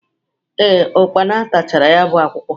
Ee, ụkpana tachara ya bụ akwụkwọ.